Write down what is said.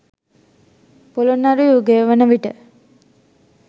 පොළොන්නරු යුගය වන විට